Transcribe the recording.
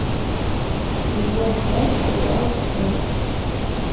сезон пять сериала шерлок